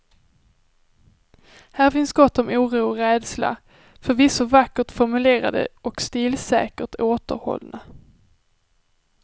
Här finns gott om oro och rädsla, förvisso vackert formulerade och stilsäkert återhållna.